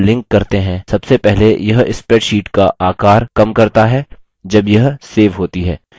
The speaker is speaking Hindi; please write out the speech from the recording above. जब हम एक file को link करते हैं: सबसे पहले यह spreadsheet का आकार कम करता है जब यह सेव होती है